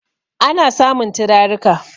ana samun turarika